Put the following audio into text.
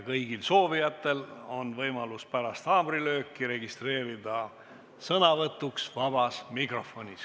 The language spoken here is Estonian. Kõigil soovijatel on võimalus pärast haamrilööki registreeruda sõnavõtuks vabas mikrofonis.